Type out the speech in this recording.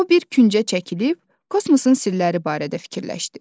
O bir küncə çəkilib, kosmosun sirləri barədə fikirləşdi.